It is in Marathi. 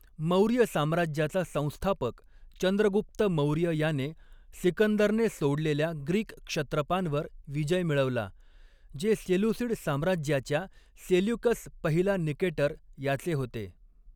मौर्य साम्राज्याचा संस्थापक चंद्रगुप्त मौर्य याने सिकंदरने सोडलेल्या ग्रीक क्षत्रपांवर विजय मिळवला, जे सेलुसिड साम्राज्याच्या सेल्युकस पहिला निकेटर याचे होते.